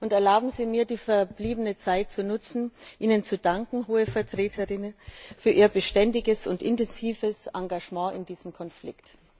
Erlauben Sie mir, die verbliebene Zeit zu nutzen, Ihnen zu danken, Hohe Vertreterin, für Ihr beständiges und intensives Engagement in diesem Konflikt.